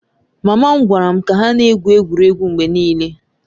Mama m gwara m ka ha na-egwu egwuregwu mgbe niile